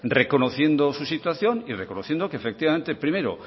reconociendo su situación y reconociendo que efectivamente primero